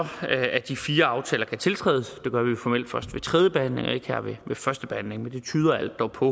at de fire aftaler kan tiltrædes det gør vi formelt først ved tredje behandling og ikke her ved førstebehandlingen men det tyder alt dog på